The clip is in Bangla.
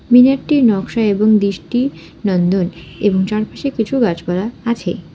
মিনারটি নকশা এবং দিস্টি নন্দন এবং চারপাশে কিছু গাছপালা আছে